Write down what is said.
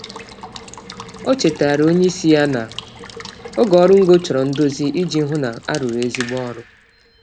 O chetara onyeisi ya na oge oru ngo chọrọ ndozi iji hụ na arụrụ ezigbo ọrụ